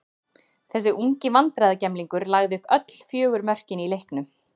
Þessi ungi vandræðagemlingur lagði upp öll fjögur mörkin í leiknum.